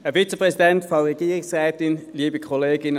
Dann habe ich noch bis 10.30 Uhr Zeit.